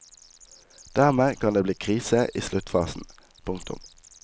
Dermed kan det bli krise i sluttfasen. punktum